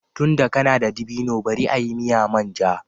Tunda kana da dabino bari a yi miya manja